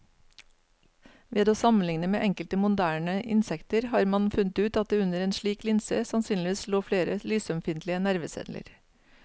Ved å sammenligne med enkelte moderne insekter har man funnet ut at det under en slik linse sannsynligvis lå flere lysømfintlige nerveceller.